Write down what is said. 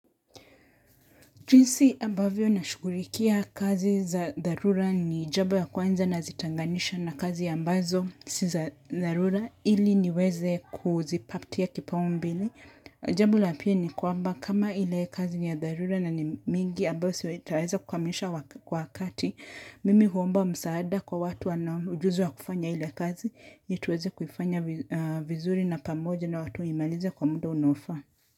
Jinsi ambavyo na shughulikia kazi za dharura ni jambo ya kwanza nazitenganisha na kazi ya ambazo si za dharura ili niweze kuzipatia kipaumbele. Jabo la pili kwamba kama ile kazi ya dharura na ni mingi ambayo sitaweza kukamilisha kwa wakati. Mimi huomba msaada kwa watu wana ujuzi wa kufanya ile kazi. Ili tuweze kuifanya vizuri na pamoja na watu waimalize kwa muda unaofaa.